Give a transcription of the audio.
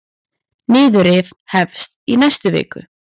Niðurrif hefst í næstu viku.